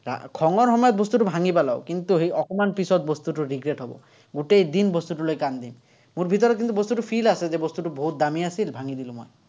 খঙৰ সময়ত বস্তুটো ভাঙি পেলাঁও। কিন্তু, সেই অকণমান পিচত সেই বস্তুটো regret হ'ব। গোটেই দিন বস্তুটোলৈ কান্দিম। মোৰ ভিতৰত কিন্তু, বস্তুটো feel আছে যে বস্তুটো বহুত দামী আছিল, ভাঙি দিলো মই।